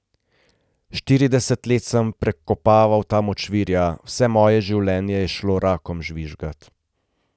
Štirideset let sem prekopaval ta močvirja, vse moje življenje je šlo rakom žvižgat.